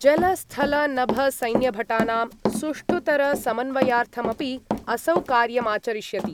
जलस्थलनभसैन्यभटानां सुष्ठुतरसमन्वयार्थमपि असौ कार्यमाचरिष्यति।